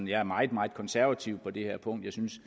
jeg er meget meget konservativ på det her punkt jeg synes